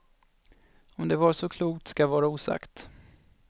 Om det var så klokt ska vara osagt.